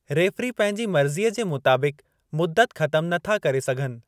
Referee पंहिंजी मर्ज़ीअ जे मुताबिक़ मुद्दत ख़तम नथा करे सघनि।